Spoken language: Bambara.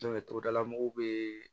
togodala mɔgɔw be